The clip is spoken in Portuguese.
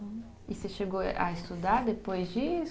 E você chegou a estudar depois disso?